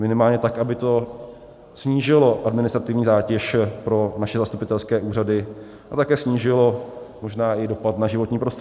Minimálně tak, aby to snížilo administrativní zátěž pro naše zastupitelské úřady a také snížilo možná i dopad na životní prostředí.